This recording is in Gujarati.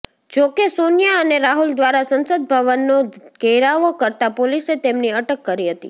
જોકે સોનિયા અને રાહુલ દ્વારા સંસદ ભવનનો ધેરાવો કરતા પોલિસે તેમની અટક કરી હતી